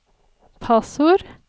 passord